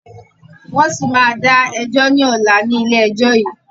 Wọn síí má da ẹjọ́ ni ọ̀la ni ilé ẹjọ́ yìí